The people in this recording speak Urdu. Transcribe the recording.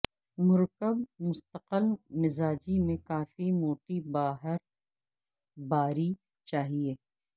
مرکب مستقل مزاجی میں کافی موٹی باہر باری چاہئے